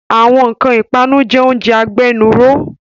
Àwọn nkan ipanu jẹ oúnjẹ agbénúró